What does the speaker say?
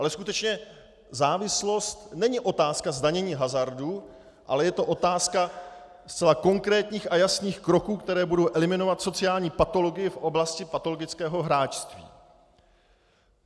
Ale skutečně závislost není otázka zdanění hazardu, ale je to otázka zcela konkrétních a jasných kroků, které budou eliminovat sociální patologii v oblasti patologického hráčství.